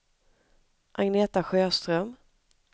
Agneta Sjöström